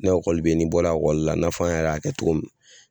Ne ekɔli bɛ ye n'i bɔra ekɔli la i n'a fɔ an yɛrɛ y'a kɛ cogo min.